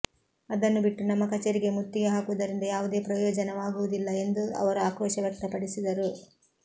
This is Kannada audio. ಅದನ್ನು ಬಿಟ್ಟು ನಮ್ಮ ಕಚೇರಿಗೆ ಮುತ್ತಿಗೆ ಹಾಕುವುದರಿಂದ ಯಾವುದೇ ಪ್ರಯೋಜನವಾಗುವುದಿಲ್ಲ ಎಂದು ಅವರು ಆಕ್ರೋಶ ವ್ಯಕ್ತಪಡಿಸಿದರು